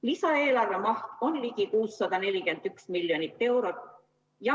Lisaeelarve maht on ligi 641 miljonit eurot.